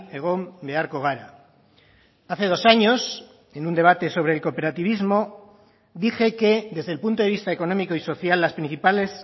egon beharko gara hace dos años en un debate sobre el cooperativismo dije que desde el punto de vista económico y social las principales